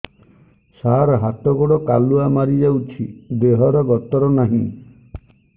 ସାର ହାତ ଗୋଡ଼ କାଲୁଆ ମାରି ଯାଉଛି ଦେହର ଗତର ନାହିଁ